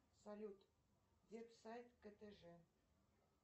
салют веб сайт ктж